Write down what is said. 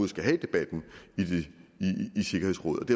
skal have debatten i sikkerhedsrådet